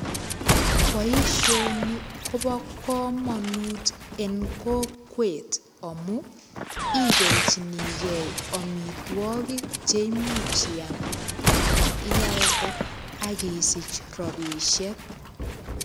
Boisionikobo kamanut eng kokwet amu ibelchinige amitwogikche imuch iam ana ialde ak isich rapisiek.